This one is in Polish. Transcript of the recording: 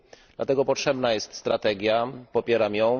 Dlatego potrzebna jest strategia, popieram ją.